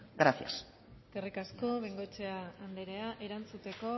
gracias eskerrik asko bengoechea anderea erantzuteko